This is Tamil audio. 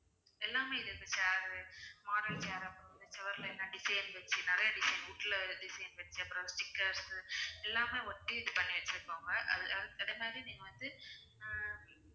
எல்லாமே இருக்கு chair model chair அப்புறம் வந்து சுவர்ல எதனா design வெச்சி நிறையா design wood ல design வெச்சி அப்புறம் stickers உ எல்லாமே ஒட்டி இது பண்ணி வச்சிருக்காங்க அது அது ஆவே நீங்க வந்து அஹ்